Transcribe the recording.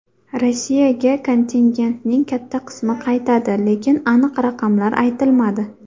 Rossiyaga kontingentning katta qismi qaytadi, lekin aniq raqamlar aytilmadi.